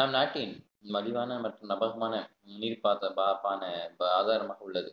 நம் நாட்டின் மலிவான மற்றும் நம்பகமான நீர் பார்த்த பரப்பான ஆதாரமாக உள்ளது